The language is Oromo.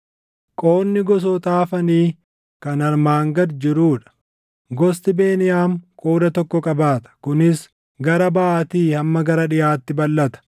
“Qoodni gosoota hafanii kan armaan gad jiruu dha: “Gosti Beniyaam qooda tokko qabaata; kunis gara baʼaatii hamma gara dhiʼaatti balʼata.